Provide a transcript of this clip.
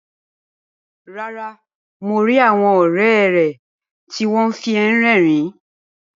Rárá, mo ri àwọn ọrẹ rẹ ti wọn fi ẹ rérìn.